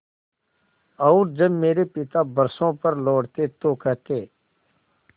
और जब मेरे पिता बरसों पर लौटते तो कहते